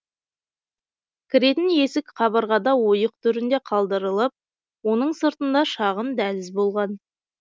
кіретін есік кабырғада ойық түрінде калдырылып оның сыртында шағын дәліз болған